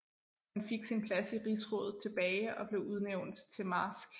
Han fik sin plads i rigsrådet tilbage og blev udnævnt til marsk